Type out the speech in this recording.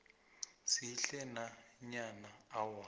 sihle nanyana awa